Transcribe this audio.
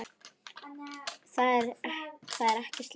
Það er ekki slæmt.